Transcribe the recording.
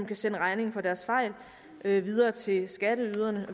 kan sende regningen for deres fejl videre til skatteyderne